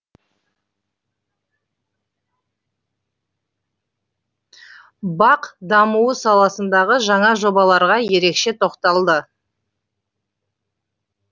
бақ дамуы саласындағы жаңа жобаларға ерекше тоқталды